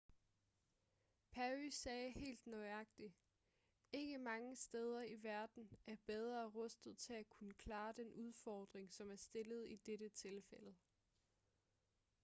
perry sagde helt nøjagtigt ikke mange steder i verden er bedre rustet til at kunne klare den udfordring som er stillet i dette tilfælde